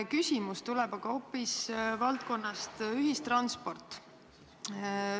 Küsimus tuleb aga hoopis ühistranspordi valdkonna kohta.